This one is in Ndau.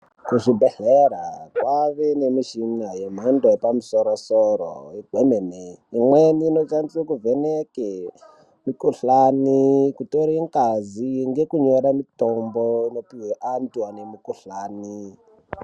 Kuzvibhedhlera kwava nemichina yemhando yepamusoro-soro kwemene. Imweni inoshandiswa kuvheneke mikhuhlani, kutore ngazi ngekunyore mitombo inopiwe antu anemikhuhlani.